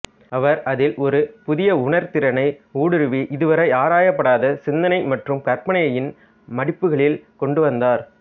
அவர் அதில் ஒரு புதிய உணர்திறனை ஊடுருவி இதுவரை ஆராயப்படாத சிந்தனை மற்றும் கற்பனையின் மடிப்புகளில் கொண்டு வந்தார்